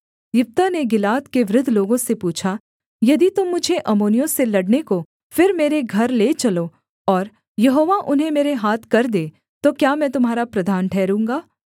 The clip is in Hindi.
यिप्तह ने गिलाद के वृद्ध लोगों से पूछा यदि तुम मुझे अम्मोनियों से लड़ने को फिर मेरे घर ले चलो और यहोवा उन्हें मेरे हाथ कर दे तो क्या मैं तुम्हारा प्रधान ठहरूँगा